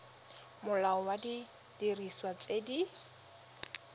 molao wa didiriswa tse di